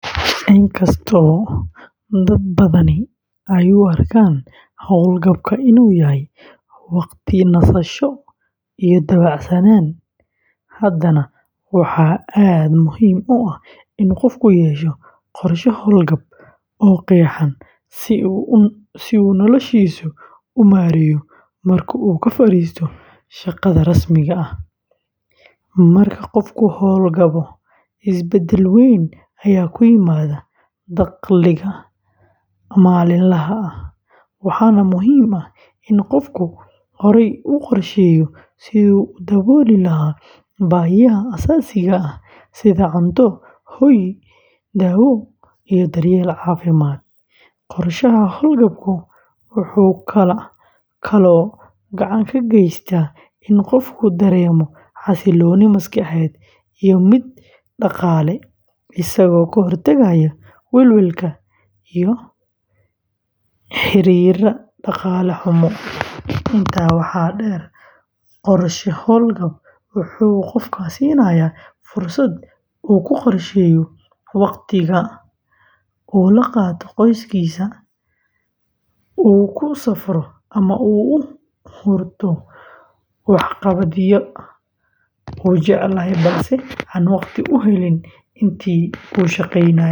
Inkastoo dad badani ay u arkaan hawlgabka inuu yahay waqti nasasho iyo dabacsanaan, haddana waxaa aad muhiim u ah in qofku yeesho qorshe hawlgab oo qeexan si uu noloshiisa u maareeyo marka uu ka fariisto shaqada rasmiga ah. Marka qofku hawlgabo, isbeddel weyn ayaa ku yimaada dakhliga maalinlaha ah, waxaana muhiim ah in qofku horay u qorsheeyo siduu u dabooli lahaa baahiyaha aasaasiga ah sida cunto, hoy, daawo iyo daryeel caafimaad. Qorshaha hawlgabku wuxuu kaloo gacan ka geystaa in qofku dareemo xasilooni maskaxeed iyo mid dhaqaale, isagoo ka hortagaya welwelka la xiriira dhaqaale xumo. Intaa waxaa dheer, qorshe hawlgab wuxuu qofka siinayaa fursad uu ku qorsheeyo waqti uu la qaato qoyskiisa, uu ku safro ama uu u hurto waxqabadyada uu jeclaa balse aan waqti u helin intii uu shaqeynayey.